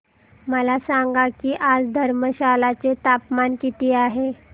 मला सांगा की आज धर्मशाला चे तापमान किती आहे